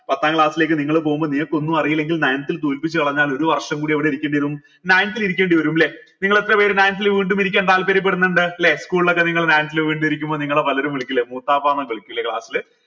പത്താം class ലേക്ക് നിങ്ങൾ പോകുമ്പോൾ നിങ്ങക്കൊന്നും അറീല്ലെങ്കിൽ ninth ൽ തോൽപ്പിച്ചു കളഞ്ഞാൽ ഒരു വർഷം കൂടി എവിടെ ഇരിക്കേണ്ടിവരും ninth ൽ ഇരിക്കേണ്ടിവരും ല്ലെ നിങ്ങൾ എത്രപേര് ninth ൽ വീണ്ടും ഇരിക്കാൻ താത്പര്യപെടുന്നുണ്ട് ല്ലെ school ലൊക്കെ നിങ്ങൾ ninth ൽ വീണ്ടും ഇരിക്കുമ്പോ നിങ്ങളെ പലരും വിളിക്കില്ലെ മൂത്താപ്പ ന്ന് വിളിക്കുഅല്ലെ class ൽ